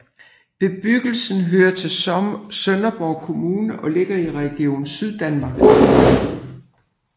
Bebyggelsen hører til Sønderborg Kommune og ligger i Region Syddanmark